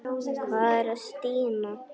Hvað er að Stína?